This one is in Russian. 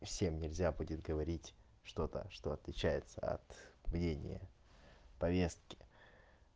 всем нельзя будет говорить что-то что отличается от мнения повестки